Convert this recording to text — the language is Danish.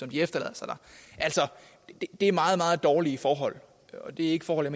de efterlader sig der det er meget meget dårlige forhold og det er ikke forhold